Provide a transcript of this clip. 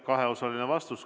Kaheosaline vastus.